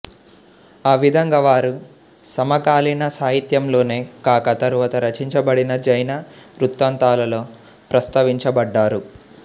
ఆ విధంగా వారు సమకాలీన సాహిత్యంలోనే కాక తరువాత రచించబడిన జైన వృత్తాంతాలలో ప్రస్తావించబడ్డారు